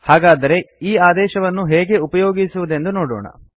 ಹಾಗಾದರೆ ಈ ಆದೇಶವನ್ನು ಹೇಗೆ ಉಪಯೋಗಿಸುವುದೆಂದು ನೋಡೋಣ